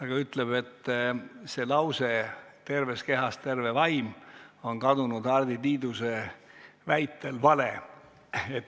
Ta ütleb, et lause "Terves kehas terve vaim!" on kadunud Hardi Tiiduse väitel vale.